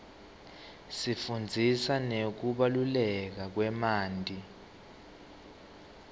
isifundzisa ngekubaluleka kwemanti